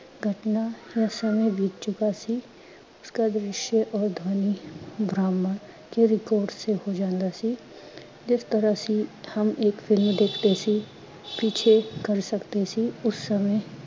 ਘਟਨਾ ਜਾ ਸਮੇਂ ਬੀਤ ਚੁਕਾ ਸੀ। ਉਸਕਾ ਦਿ੍ਸ਼ ਔਰ ਧਵਨੀ ਬਾ੍ਹਮੰਡ ਕੇ record ਸੇ ਹੋ ਜਾਂਦਾ ਸੀ। ਜਿਸ ਤਰਾਂਹ ਸੇ ਹਮ ਏਕ film ਦੇਖਦੇ ਸੀ, ਪਿੱਛੇ ਕਰ ਸਕਦੇ ਸੀ ਉਸ ਸਮੇ